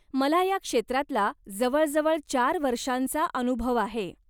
मला ह्या क्षेत्रातला जवळजवळ चार वर्षांचा अनुभव आहे.